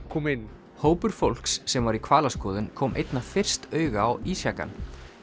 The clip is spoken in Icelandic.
koma inn hópur fólks sem var í hvalaskoðun kom einna fyrst auga á ísjakann